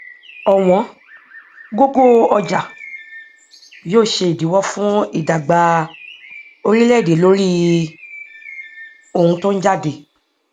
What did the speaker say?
ọwọn gógó ọjà yóò ṣe ìdíwó fún ìdàgbà oríléèdè lórí ohun tó ń jáde